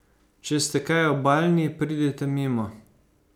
Če ste kaj obalni, pridite mimo!